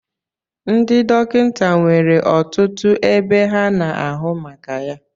Ndị dọkịta nwere ọtụtụ ebe ha na-ahụ maka ya